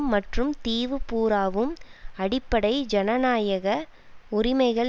மற்றும் தீவு பூராவும் அடிப்படை ஜனாநாயக உரிமைகள்